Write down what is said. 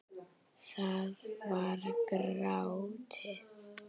Það var grátið!